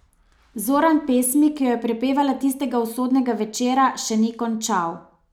Zoran pesmi, ki jo je prepevala tistega usodnega večera, še ni končal.